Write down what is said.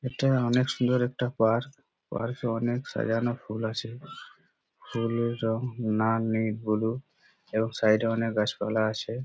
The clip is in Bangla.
এটা অনেক সুন্দর একটা পার্ক । পার্ক -এ অনেক সাজানো ফুল আছে। ফুলের রং লাল নীল হলুদ এবং সাইড - এ অনেক গাছপালা আছে।